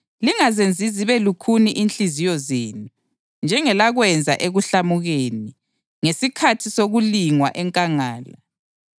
lingazenzi zibe lukhuni inhliziyo zenu, njengelakwenza ekuhlamukeni, ngesikhathi sokulingwa enkangala,